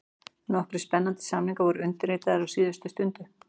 Nokkrir spennandi samningar voru undirritaðir á síðustu stundu: